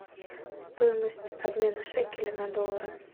стоимость обмена шекеля на доллары